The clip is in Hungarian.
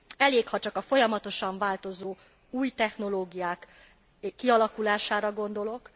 Elég, ha csak a folyamatosan változó új technológiák kialakulására gondolok.